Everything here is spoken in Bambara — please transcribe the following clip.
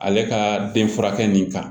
Ale ka den furakɛ nin kan